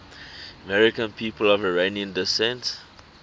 american people of iranian descent